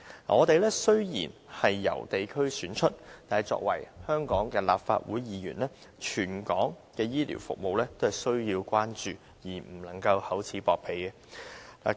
我們雖然由地區選出，但作為香港的立法會議員，全港的醫療服務也需要關注，不能夠厚此薄彼。